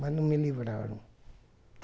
Mas não me livraram.